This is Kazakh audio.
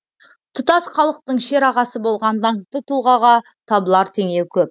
тұтас халықтың шерағасы болған даңқты тұлғаға табылар теңеу көп